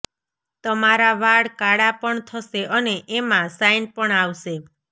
તમારા વાળ કાળા પણ થશે અને એમાં સાઈન પણ આવશે